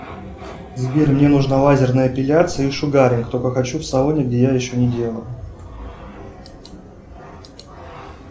сбер мне нужна лазерная эпиляция и шугаринг только хочу в салоне где я еще не делал